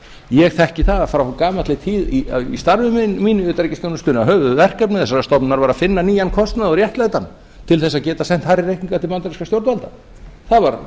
ég þekki það frá gamalli tíð í starfi mínu í utanríkisþjónustunni að höfuðverkefni þessarar stofnunar var að finna nýjan kostnað og réttlæta hann til að geta sent hærri reikninga til bandarískra stjórnvalda það var